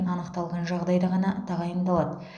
анықталған жағдайда ғана тағайындалады